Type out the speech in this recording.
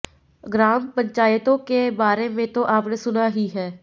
ग्राम पंचायतों के बारे में तो आपने सुना ही है